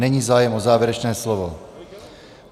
Není zájem o závěrečné slovo.